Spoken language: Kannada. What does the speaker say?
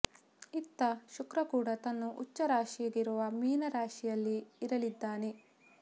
ಇತ್ತ ಶುಕ್ರ ಕೂಡ ತನ್ನ ಉಚ್ಛ ರಾಶಿಯಾಗಿರುವ ಮೀನ ರಾಶಿಯಲ್ಲಿ ಇರಲಿದ್ದಾನೆ